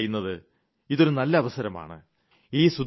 അതുകൊണ്ടാണ് ഞാൻ പറയുന്നത് ഇതൊരു നല്ല അവസരമാണ്